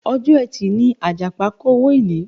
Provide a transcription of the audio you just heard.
Ọjọ́ ẹtì ni Àjàpá kówọ ilé.